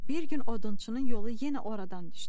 Bir gün odunçunun yolu yenə oradan düşdü.